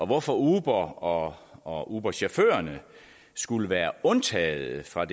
hvorfor uber og og uberchaufførerne skulle være undtaget fra